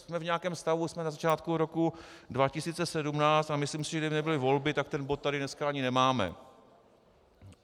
Jsme v nějakém stavu, jsme na začátku roku 2017, a myslím si, že kdyby nebyly volby, tak ten bod tady dneska ani nemáme.